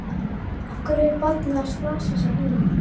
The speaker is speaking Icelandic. Af hverju er barnið að slasa sig heima?